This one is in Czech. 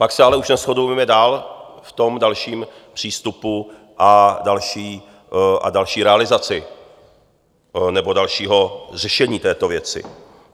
Pak se ale už neshodujeme dál v tom dalším přístupu a další realizaci nebo dalším řešení této věci.